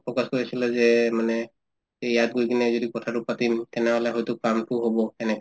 focus কৰি আছিলা যে মানে ইয়াত গৈ কিনে যদি কথাটো পাতিম তেনেহলে হয়তো কামটো হব সেনে